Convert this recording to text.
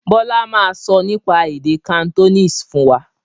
Bọlá máa sọ nípa èdè Cantonese fún wa